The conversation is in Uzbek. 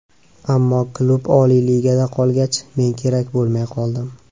Ammo klub Oliy ligada qolgach, men kerak bo‘lmay qoldim.